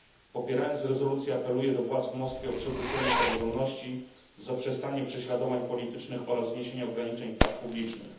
Popierając rezolucję, apeluję do władz w Moskwie o przywrócenie praworządności, zaprzestanie prześladowań politycznych oraz zniesienie ograniczeń praw publicznych.